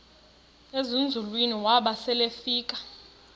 ezinzulwini waba selefika